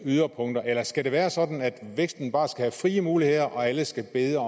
yderpunkter eller skal det være sådan at væksten bare skal have frie muligheder og alle skal bede